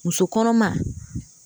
Muso kɔnɔma